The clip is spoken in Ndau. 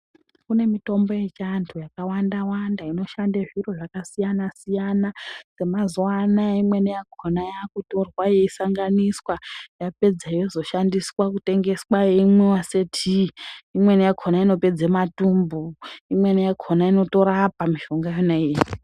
Kune mitombo yechivantu yakawanda-wanda inoshande zviro zvakasiyana-siyana, semazuva anaya imweni yakona yakutorwa yechisanganiswa yapedza yozoshandiswa kutengeswa yeimwiva setii. Imweni yakona inopedza matumbu, imweni yakona inotorapa mishonga iyona iyi.